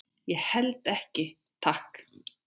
Ég held ekki, takk.